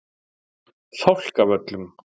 Fálkavöllum